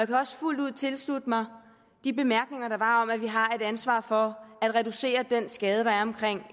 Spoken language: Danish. kan også fuldt ud tilslutte mig de bemærkninger der var om at vi har et ansvar for at reducere den skade der er